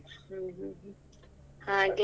ಹ್ಮ್ ಹ್ಮ್ ಹ್ಮ್ ಹಾಗೆ.